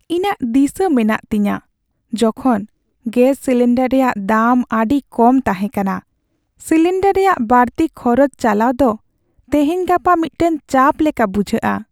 ᱤᱧᱟᱹᱜ ᱫᱤᱥᱟᱹ ᱢᱮᱱᱟᱜ ᱛᱤᱧᱟᱹ ᱡᱚᱠᱷᱚᱱ ᱜᱮᱥ ᱥᱤᱞᱤᱱᱰᱟᱨ ᱨᱮᱭᱟᱜ ᱫᱟᱢ ᱟᱹᱰᱤ ᱠᱚᱢ ᱛᱟᱦᱮᱸ ᱠᱟᱱᱟ ᱾ ᱥᱤᱞᱤᱱᱰᱟᱨ ᱨᱮᱭᱟᱜ ᱵᱟᱹᱲᱛᱤ ᱠᱷᱚᱨᱚᱪ ᱪᱟᱞᱟᱣ ᱫᱚ ᱛᱮᱦᱮᱧᱼᱜᱟᱯᱟ ᱢᱤᱫᱴᱟᱝ ᱪᱟᱯ ᱞᱮᱠᱟ ᱵᱩᱡᱷᱟᱹᱜᱼᱟ ᱾